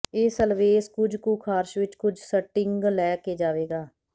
ਇਹ ਸਲਵੇਸ ਕੁਝ ਕੁ ਖਾਰਸ਼ ਵਿਚੋਂ ਕੁੱਝ ਸਟਿੰਗ ਲੈ ਕੇ ਜਾਵੇਗਾ